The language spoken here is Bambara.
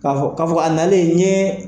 K'a fɔ k'a fɔ a nalen n ye.